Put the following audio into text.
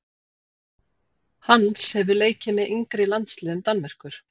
Hans hefur leikið með yngri landsliðum Danmerkur.